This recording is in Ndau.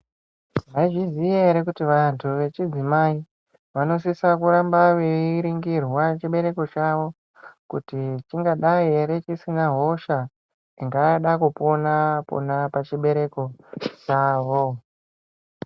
Mwaizviziya ere kuti vantu vechidzimai vanosisa kuramba veringirwa chibereko chavo kuti chingadai ere chisina hosha ingada kupona pona pachibereko chavo.